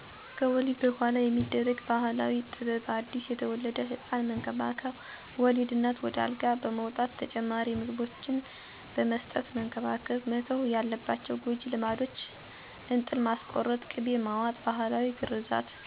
ከወሊድ በኋላ የሚደረግ ባህላዊ ጥበብ አዲስ የተወለደ ህፃን መንከባከብ፣ ወለድ እናትን ወደ አልጋ በመውጣት ተጨማሪ ምግቦችን በመስጠት መንከባከብ። መተው የለባቸው ጎጂ ልማዶች እንጥል ማስቆረጥ፣ ቅቤ መዋጥ፣ ባህላዊ ግርዘት እና እንገር የተባለውን ን የመጀመሪያውን የእናት ጡት ወተት አለመስጠት ወይም አለማስጠበት ናቸው